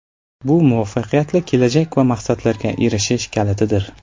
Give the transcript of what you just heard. Bu muvaffaqiyatli kelajak va maqsadlarga erishish kalitidir.